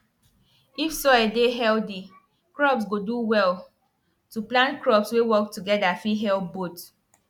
if soil dey healthy crops go do well to plant crops wey work together fit help both